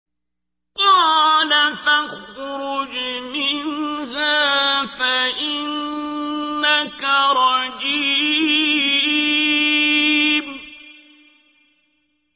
قَالَ فَاخْرُجْ مِنْهَا فَإِنَّكَ رَجِيمٌ